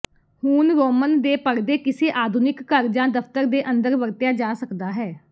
ਹੁਣ ਰੋਮਨ ਦੇ ਪਰਦੇ ਕਿਸੇ ਆਧੁਨਿਕ ਘਰ ਜਾਂ ਦਫ਼ਤਰ ਦੇ ਅੰਦਰ ਵਰਤਿਆ ਜਾ ਸਕਦਾ ਹੈ